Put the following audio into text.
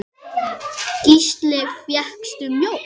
Gísli: Fékkstu mjólk?